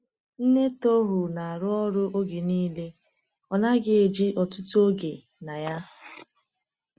Nne Tohru na-arụ ọrụ oge niile, ọ naghị eji ọtụtụ oge na ya.